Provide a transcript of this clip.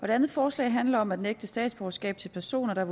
det andet forslag handler om at nægte statsborgerskab til personer der af